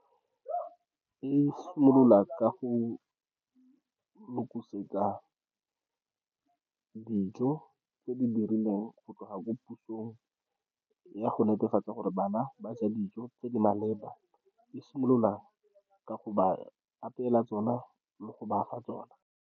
E simolola ka go lokisetsa dijo tse di dirilweng, go tloga ko pusong, ya go netefatsa gore bana ba ja dijo tse di maleba. E simolola ka go ba apeela tsona le go ba fa tsona.